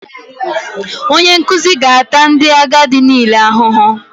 Onye nkuzi ga-ata ndị agadi niile ahụhụ